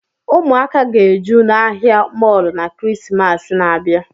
Ụmụ aka ga-eju n'ahia mọlụ n'kirisimasi n'abia